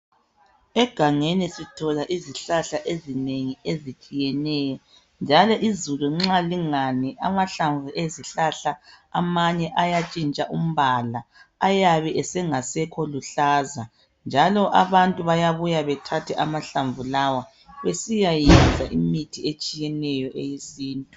Egangeni sithola izihlahla ezinengi ezitshiyeneyo njalo izulu nxa lingani amahlamvu ezihlahla amanye ayatshintsha umbala ayabe engasekho luhlaza njalo abantu bayabuya bethathe amahlamvu lawa besiyayenza imithi etshiyeneyo eyesintu.